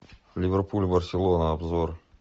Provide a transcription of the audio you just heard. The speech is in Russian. ливерпуль барселона обзор